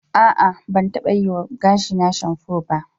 A'a, ban taɓa yiwa gashina shanfo ba.